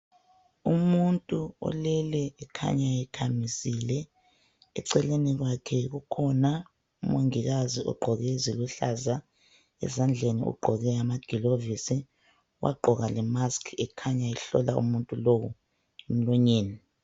Umuntu olele ekhanya ekhamisile. Eceleni kwakhe kukhona umongikazi ogqoke eziluhlaza ezandleni ugqoke amagilovisi, wagqoka le"mask" ekhanya ehlola umuntu lowu emlonyeni.